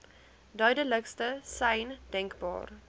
duidelikste sein denkbaar